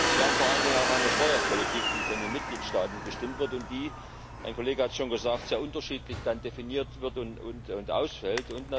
Und wir haben vor allen Dingen auch eine Steuerpolitik, die von den Mitgliedstaaten bestimmt wird und ein Kollege hat es schon gesagt sehr unterschiedlich definiert wird und ausfällt.